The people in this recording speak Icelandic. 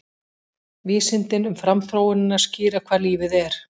Vísindin um framþróunina skýra hvað lífið er